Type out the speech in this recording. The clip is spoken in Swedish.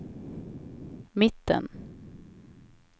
mitten